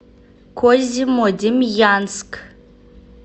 козьмодемьянск